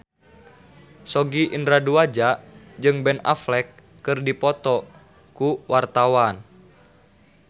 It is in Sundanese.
Sogi Indra Duaja jeung Ben Affleck keur dipoto ku wartawan